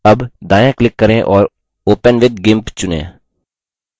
अब दायाँclick करें और open with gimp चुनें